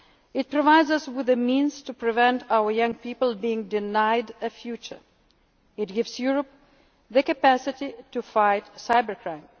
underway. It provides us with the means to prevent our young people being denied a future. It gives Europe the capacity to fight